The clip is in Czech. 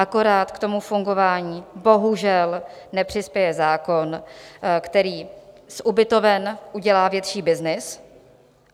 Akorát k tomu fungování bohužel nepřispěje zákon, který z ubytoven udělá větší byznys.